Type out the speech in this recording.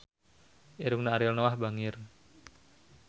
Irungna Ariel Noah bangir